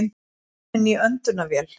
Kominn úr öndunarvél